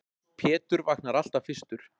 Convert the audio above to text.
Pétur vaknar alltaf fyrstur.